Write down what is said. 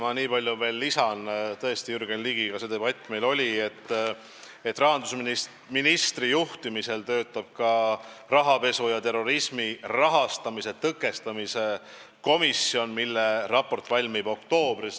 Ma nii palju veel lisan Jürgen Ligiga peetud debatile, et rahandusministri juhtimisel töötab meil rahapesu ja terrorismi rahastamise tõkestamise komisjon, kelle raport valmib oktoobris.